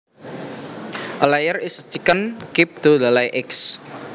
A layer is a chicken kept to lay eggs